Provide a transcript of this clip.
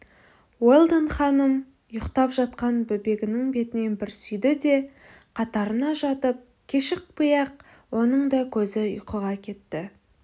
уэлдон ханым ұйықтап жатқан бөбегінің бетінен бір сүйді де қатарына жатып кешікпей-ақ оның да көзі ұйқыға кетті